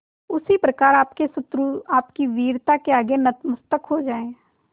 उसी प्रकार आपके शत्रु आपकी वीरता के आगे नतमस्तक हो जाएं